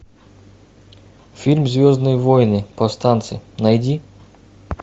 фильм звездные войны повстанцы найди